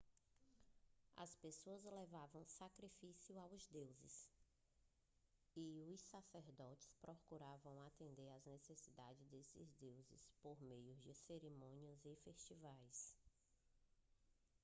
as pessoas levavam sacrifícios aos deuses e os sacerdotes procuravam atender às necessidades desses deuses por meio de cerimônias e festivais